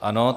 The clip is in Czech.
Ano.